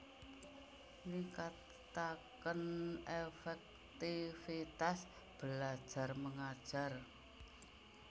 Ningkataken efektifitas belajar mengajar